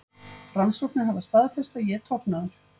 Rannsóknir hafa staðfest að ég er tognaður.